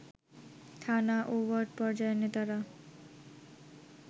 থানা ও ওয়ার্ড পর্যায়ের নেতারা